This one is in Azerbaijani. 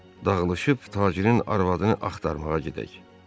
Dağlışıb tacirin arvadını axtarmağa gedək.